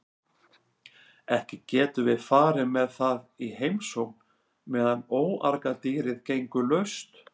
Ekki getum við farið með það í heimsókn meðan óargadýrið gengur laust.